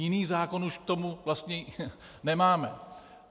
Jiný zákon už k tomu vlastně nemáme.